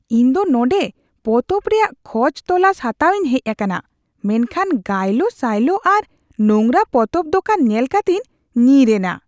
ᱤᱧ ᱫᱚ ᱱᱚᱰᱮᱸ ᱯᱚᱛᱚᱵ ᱨᱮᱭᱟᱜ ᱠᱷᱚᱡ ᱛᱚᱞᱟᱥ ᱦᱟᱛᱟᱣᱤᱧ ᱦᱮᱡ ᱟᱠᱟᱱᱟ ᱢᱮᱱᱠᱷᱟᱱ ᱜᱟᱭᱞᱳ ᱥᱟᱭᱞᱳ ᱟᱨ ᱱᱳᱝᱨᱟ ᱯᱚᱛᱚᱵ ᱫᱚᱠᱟᱱ ᱧᱮᱞ ᱠᱟᱛᱮᱧ ᱧᱤᱨ ᱮᱱᱟ ᱾